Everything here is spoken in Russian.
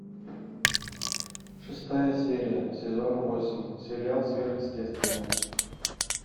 шестая серия сезона восемь сериал сверхъестественное